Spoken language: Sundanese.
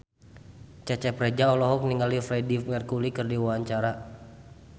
Cecep Reza olohok ningali Freedie Mercury keur diwawancara